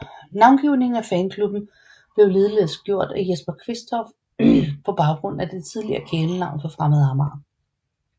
Navngivningen af fanklubben blev ligeledes gjort af Jesper Quistorff på baggrund af det tidligere kælenavn for Fremad Amager